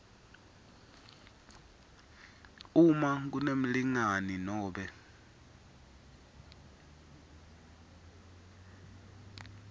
uma kunemlingani nobe